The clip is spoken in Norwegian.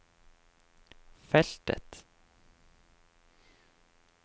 feltet